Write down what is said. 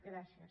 gràcies